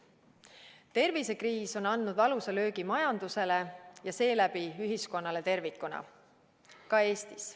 Tervisekriis on andnud valusa löögi majandusele ja seeläbi ühiskonnale tervikuna, ka Eestis.